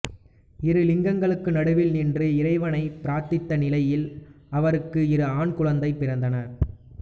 இரு லிங்கங்களுக்கு நடுவில் நின்று இறைவனைப் பிரார்த்தித்த நிலையில் அவருக்கு இரு ஆண் குழந்தைகள் பிறந்தனர்